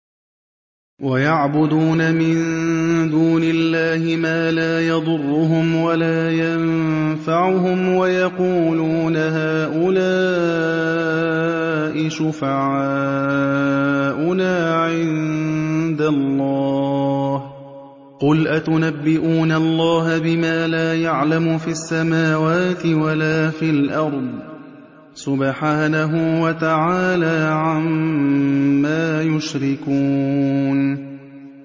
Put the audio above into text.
وَيَعْبُدُونَ مِن دُونِ اللَّهِ مَا لَا يَضُرُّهُمْ وَلَا يَنفَعُهُمْ وَيَقُولُونَ هَٰؤُلَاءِ شُفَعَاؤُنَا عِندَ اللَّهِ ۚ قُلْ أَتُنَبِّئُونَ اللَّهَ بِمَا لَا يَعْلَمُ فِي السَّمَاوَاتِ وَلَا فِي الْأَرْضِ ۚ سُبْحَانَهُ وَتَعَالَىٰ عَمَّا يُشْرِكُونَ